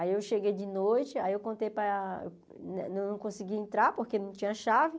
Aí eu cheguei de noite, aí eu contei para não consegui entrar porque não tinha chave.